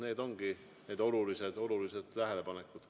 Need ongi need olulised tähelepanekud.